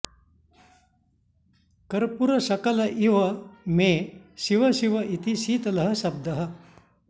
कर्पूरशकल इव मे शिव शिव इति शीतलः शब्दः